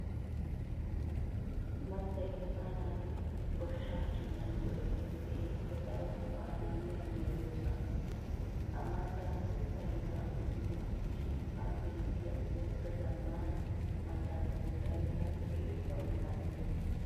Mattay asaa naati goshshaa hiillan go'ettiyo keehippe daro go'aa immiya meedoosa. Ha mattaa kottay naa"u qommo gidishiin ha beettiya ooratta zamaana mattaa koottaay daro eessawu maddees.